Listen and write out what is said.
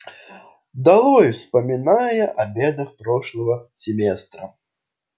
долой вспоминая о бедах прошлого семестра